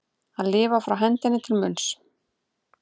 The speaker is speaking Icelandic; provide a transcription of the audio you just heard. Að lifa frá hendinni til munnsins